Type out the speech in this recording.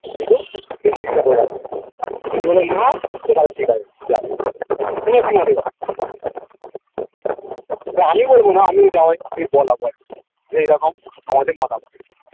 কিন্তু তা আমি বলবো না আমিও জামাই দিয়ে বলাবো আর কি যে এইরকম আমাদের মতামত